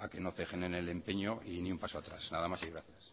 a que no ceje en el empeño y ni un paso atrás nada más y gracias